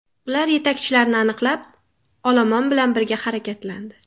Ular yetakchilarni aniqlab, olomon bilan birga harakatlandi.